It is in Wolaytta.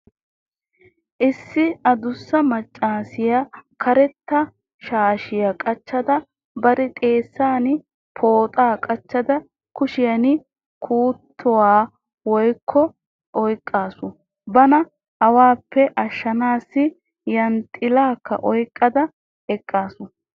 Issi adussa maccaasiya karetta shaashiya qacada bari xeessan pooxaa qachchada kushiyan kuttuwa oyqqada eqqaasu. Bana awaappe ashshiya yanxxilaakka oyqqada eqqaasu.